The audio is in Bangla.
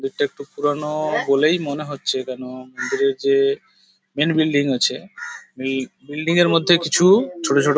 গেট -টা একটু পুরানো-ও বলেই মনে হচ্ছে কেন মন্দিরের যে মেন বিল্ডিং আছে বিল বিল্ডিং -এর মধ্যে কিছু ছোট ছোট --